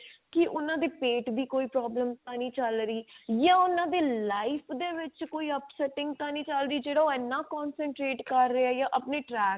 ਕੀ ਉਹਨਾਂ ਦੇ ਪੇਟ ਦੀ ਕੋਈ problem ਤਾਂ ਨਹੀਂ ਚੱਲ ਰਹੀ ਜਾਂ ਉਹਨਾਂ ਦੇ life ਦੇ ਵਿੱਚ ਕੋਈ upsetting ਤਾਂ ਨਹੀਂ ਚੱਲ ਰਹੀ ਜਿਹੜਾ ਉਹ ਇੰਨਾ concentrate ਕਰ ਰਿਹਾ ਜਾਂ ਆਪਣੇ track ਤੋਂ